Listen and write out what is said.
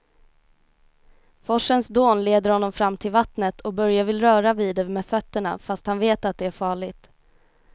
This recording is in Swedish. Forsens dån leder honom fram till vattnet och Börje vill röra vid det med fötterna, fast han vet att det är farligt.